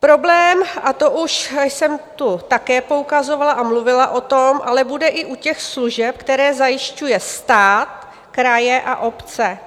Problém, a to už jsem tu také poukazovala a mluvila o tom, ale bude i u těch služeb, které zajišťuje stát, kraje a obce.